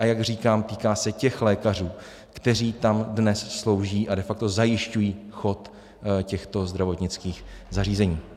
A jak říkám, týká se těch lékařů, kteří tam dnes slouží a de facto zajišťují chod těchto zdravotnických zařízení.